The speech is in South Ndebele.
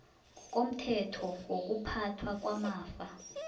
ngokomthetho wokuphathwa kwamafa